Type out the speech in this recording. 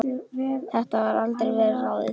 Þetta var vel ráðið.